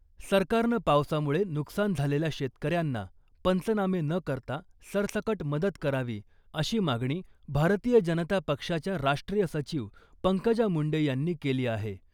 सरकारनं पावसामुळे नुकसान झालेल्या शेतकऱ्यांना पंचनामे न करता सरसकट मदत करावी , अशी मागणी भारतीय जनता पक्षाच्या राष्ट्रीय सचिव पंकजा मुंडे यांनी केली आहे .